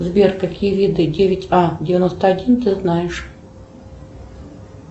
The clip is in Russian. сбер какие виды девять а девяносто один ты знаешь